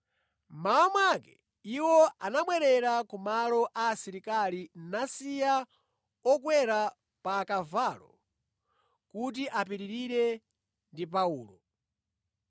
Mmawa mwake iwo anabwerera ku malo a asilikali nasiya okwera pa akavalo kuti apitirire ndi Paulo.